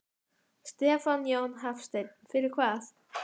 Stefán Jón Hafstein: Fyrir hvað?